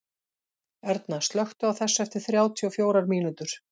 Erna, slökktu á þessu eftir þrjátíu og fjórar mínútur.